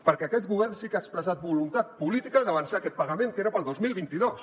perquè aquest govern sí que ha expressat voluntat política d’avançar aquest pagament que era per al dos mil vint dos